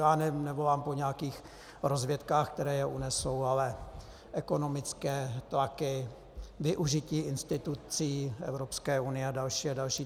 Já nevolám po nějakých rozvědkách, které je unesou, ale ekonomické tlaky, využití institucí Evropské unie a další a další.